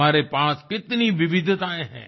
हमारे पास कितनी विविधताएँ हैं